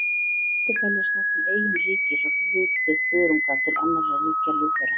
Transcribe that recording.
Sveppir teljast nú til eigin ríkis og hluti þörunga til annarra ríkja lífvera.